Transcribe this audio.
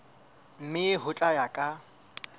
mme ho tla ya ka